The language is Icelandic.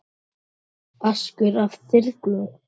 askur af þyrni